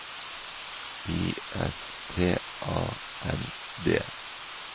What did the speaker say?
I S T A N D